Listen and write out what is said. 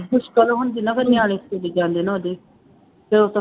ਮੁਸ਼ਕਿਲ ਹੁੰਦੀ ਨਾ, ਫੇਰ ਨਿਆਣੇ ਸਕੂਲੀ ਜਾਂਦੇ ਨਾ ਉਹਦੇ